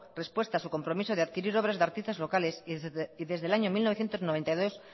respuesta a su compromiso de adquirir obras de artistas locales y desde el año mil novecientos noventa y dos